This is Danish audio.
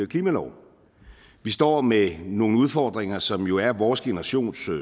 klimalov vi står med nogle udfordringer som jo er vores generations